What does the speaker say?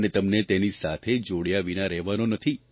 અને તમને તેની સાથે જોડ્યા વિના રહેવાનો નથી